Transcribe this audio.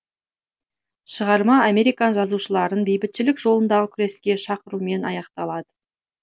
шығарма американ жазушыларын бейбітшілік жолындағы күреске шақырумен аякталады